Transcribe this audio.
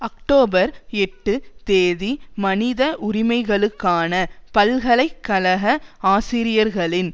October எட்டு தேதி மனித உரிமைகளுக்கான பல்கலை கழக ஆசிரியர்களின்